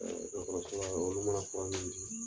dɔgɔtɔrɔ olu mana kuma min di